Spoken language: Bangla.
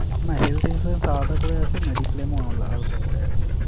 না health insurance আলাদা করে আছে, mediclaim ও আল আলাদা করে আছে।